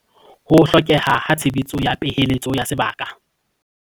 Ho hlokeha ha tshebetso ya peheletso ya sebaka